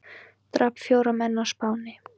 Drap fjóra menn á Spáni